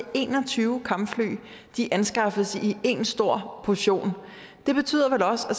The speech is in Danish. en og tyve kampfly anskaffes i én stor portion det betyder vel også at